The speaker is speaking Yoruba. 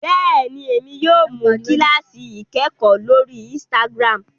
béèni, Èmi yóò mú kilasi ikẹkọ lórí instagram